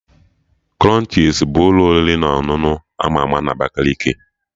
Krunchis ka bụ ụlọ oriri na ọṅụṅụ ama ama na Abakaliki